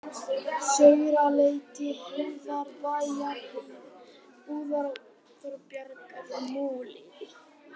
Sauraleiti, Heiðarbæjarheiði, Búðará, Þorbjargarmúli